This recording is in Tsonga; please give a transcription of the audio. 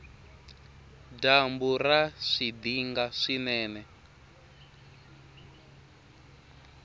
dyambu ra swidinga swinene